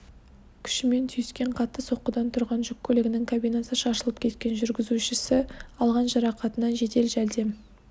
күшімен түйіскен қатты соққыдан тұрған жүк көлігінің кабинасы шашылып кеткен жүргізушісі алған жарақатынан жедел жәрдем